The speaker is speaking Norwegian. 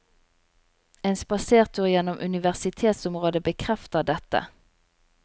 En spasertur gjennom universitetsområdet bekrefter dette.